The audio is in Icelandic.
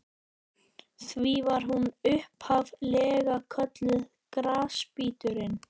Því var hún upphaf-lega kölluð Grasbíturinn.